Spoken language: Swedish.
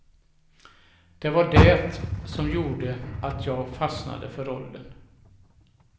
Det var det som gjorde att jag fastnade för rollen.